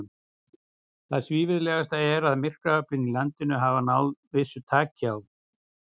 Það svívirðilegasta er, að myrkraöflin í landinu hafa náð vissu taki á.